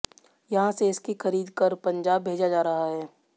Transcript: यहां से इसकी खरीद कर पंजाब भेजा रहा है